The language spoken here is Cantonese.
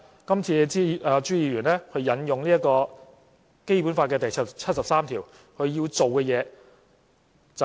今次朱議員引用《基本法》第七十三條，他要做的是甚麼？